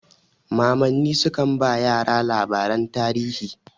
Mamanni sukan ba yara labaran tarihi.